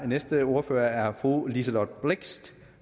næste ordfører er fru liselott blixt